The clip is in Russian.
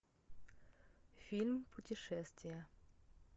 фильм путешествие